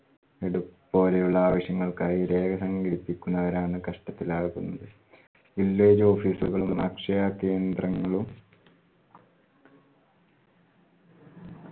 ഇത് പ്പോലെയുള്ള ആവശ്യങ്ങൾക്കായി രേഖ സംഘടിപ്പിക്കുന്നവരാണ് കഷ്ടത്തിൽ ആകുന്നത്. village office ഉകളും akshaya കേന്ദ്രങ്ങളും